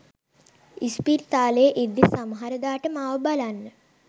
ඉස්පිරිතාලේ ඉද්දි සමහරදාට මාව බලන්න